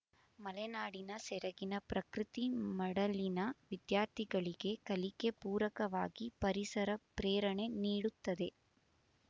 ಮಲೆನಾಡಿನ ಸೆರಗಿನ ಪ್ರಕೃತಿ ಮಡಲಿನ ವಿದ್ಯಾರ್ಥಿಗಳಿಗೆ ಕಲಿಕೆ ಪೂರಕವಾಗಿ ಪರಿಸರ ಪ್ರೇರಣೆ ನೀಡುತ್ತದೆ